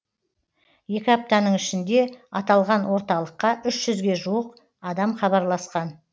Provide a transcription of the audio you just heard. екі аптаның ішінде аталған орталыққа үш жүзге жуық адам хабарласқан